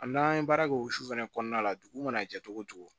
A n'an ye baara kɛ o su fɛnɛ kɔnɔna la dugu mana jɛ cogo o cogo